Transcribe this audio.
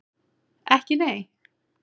Ekki nei?